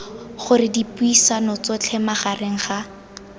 gore dipuisano tsotlhe magareng ga